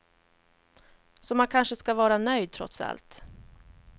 Så man kanske ska vara nöjd, trots allt.